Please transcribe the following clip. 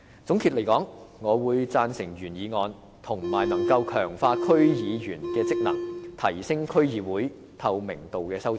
總的來說，我贊成原議案，以及可以強化區議員職能，提升區議會透明度的修正案。